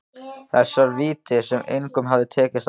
Þessar víddir sem engum hafði tekist að finna.